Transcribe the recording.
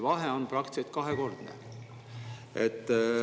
Vahe on praktiliselt kahekordne.